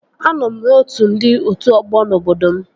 Anọ m n'otu ndị otu ọgbọ n'obodo m